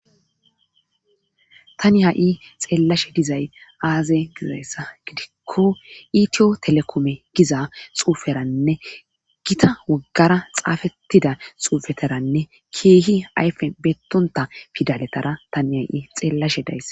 Tani ha'i xeellashe dizay aaze gizayssa gidikko itiyo telekome giza xuuferanne gita woggara xaafettida xuufeteranne kiihi ayfe beettonta fidaletara tani ha'i xeellashe dayssa.